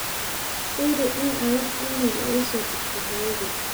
firi in aa wax iimayl ah isoo dirtay hoyoday